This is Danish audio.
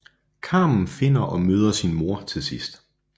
Carmen finder og møder sin mor til sidst